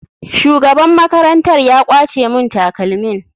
Shugaban makarantar ya kwace mun takalmin.